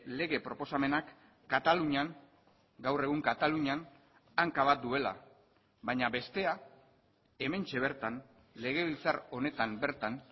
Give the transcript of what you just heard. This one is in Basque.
lege proposamenak katalunian gaur egun katalunian hanka bat duela baina bestea hementxe bertan legebiltzar honetan bertan